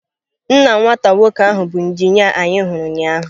Nna nwata nwoke ahụ bụ injinia anyị hụrụ ụnyahụ.